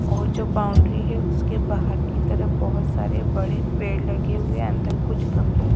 और जो बाउंड्री है उसके बाहर की तरफ बहोत सारे बड़े पेड़ लगे हुए अंदर कुछ गमले--